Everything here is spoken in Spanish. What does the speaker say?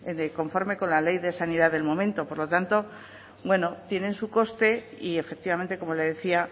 conforme con la ley de sanidad del momento por lo tanto bueno tiene su coste y efectivamente como le decía